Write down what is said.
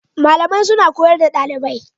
Malamai suna koyar da dalibai